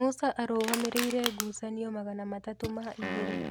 Musa arũgamĩrĩire ngucanio magana matatu ma igĩrĩ